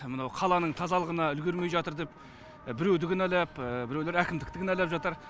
мынау қаланың тазалығына үлгермей жатыр деп біреуді кінәлап біреулер әкімдікті кінәлап жатыр